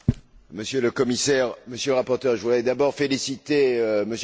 Monsieur le Commissaire, Monsieur le rapporteur, je voudrais d'abord féliciter M.